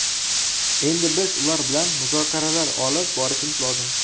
Endi biz ular bilan muzokaralar olib borishimiz lozim.